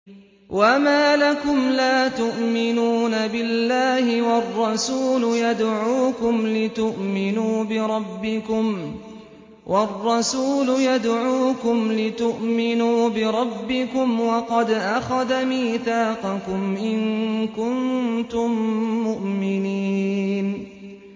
وَمَا لَكُمْ لَا تُؤْمِنُونَ بِاللَّهِ ۙ وَالرَّسُولُ يَدْعُوكُمْ لِتُؤْمِنُوا بِرَبِّكُمْ وَقَدْ أَخَذَ مِيثَاقَكُمْ إِن كُنتُم مُّؤْمِنِينَ